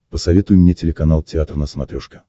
посоветуй мне телеканал театр на смотрешке